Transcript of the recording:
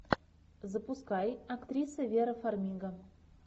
запускай актриса вера фармига